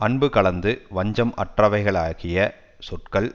அன்பு கலந்து வஞ்சம் அற்றவைகளாகிய சொற்கள்